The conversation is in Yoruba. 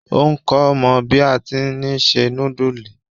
Òun kò mọ bí a ti ni se núdùùsì.